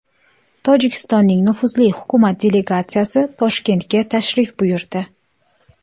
Tojikistonning nufuzli hukumat delegatsiyasi Toshkentga tashrif buyurdi.